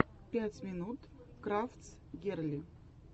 пять минут крафтс герли